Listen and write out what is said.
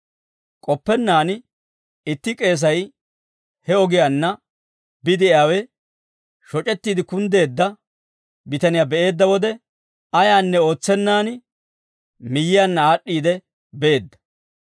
K'oppennaan itti k'eesay he ogiyaanna bide'iyaawe, shoc'ettiide kunddeedda bitaniyaa be'eedda wode, ayaanne ootsenaan miyyiyaanna aad'd'iide beedda.